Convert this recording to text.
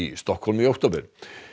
Stokkhólmi í október